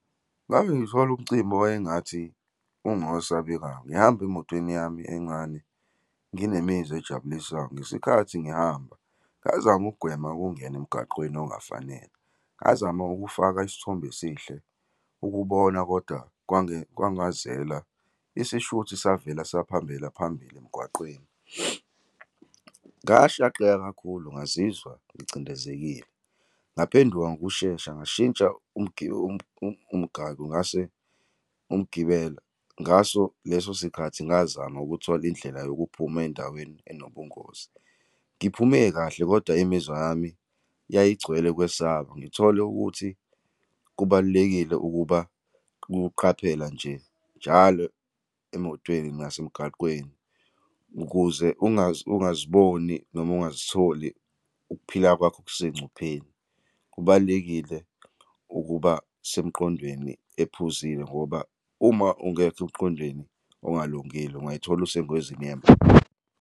Ngake ngithole umcimbi owayengathi ungowesabekayo, ngihamba emotweni yami encane, nginemizwa ejabulisayo, ngesikhathi ngihamba ngazama ukugwema ukungena emgaqweni ongafanele. Ngazama ukufaka isithombe esihle ukubona, kodwa kwangazeka. Isishuthi savela sahambela phambili emgwaqeni. Ngashaqeka kakhulu. Ngazizwa ngicindezelekile, ngaphenduka ngokushesha, ngashintsha umgaqo, ngase umgibelo. Ngaso leso sikhathi ngazama ukuthola indlela yokuphuma endaweni enobungozi. Ngiphume kahle, kodwa imizwa yami yayigcwele ukwesaba. Ngithole ukuthi kubalulekile ukuba, ukuqaphela nje njalo emotweni nasemgaqweni, ukuze ungaziboni noma ungazitholi ukuphila kwakho kusengcupheni. Kubalulekile ukuba semqondweni ephuzile, ngoba uma ungekho emqondweni okungalungile ungazithola usengozini yemoto.